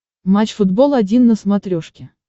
матч футбол один на смотрешке